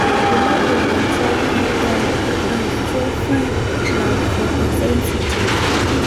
Ibulabul le Trichothiodystrophy nonphotosensitive